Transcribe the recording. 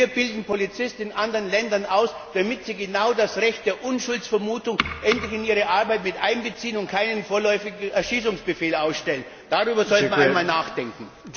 Denn wir bilden Polizisten in anderen Ländern aus, damit sie genau das Recht der Unschuldsvermutung endlich in ihre Arbeit mit einbeziehen und keinen vorläufigen Erschießungsbefehl ausstellen. Darüber sollte man einmal nachdenken!